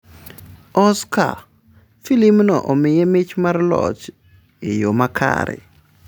Oscar: Filim no omiye mich mar loch e yo makare